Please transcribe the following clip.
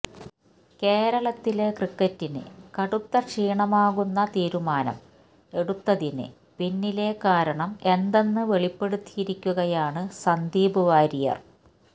കേരളത്തിലെ ക്രിക്കറ്റിന് കടുത്ത ക്ഷീണമാകുന്ന തീരുമാനം എടുത്തതിന് പിന്നിലെ കാരണം എന്തെന്ന് വെളിപ്പെടുത്തിയിരിക്കുകയാണ് സന്ദീപ് വാര്യര്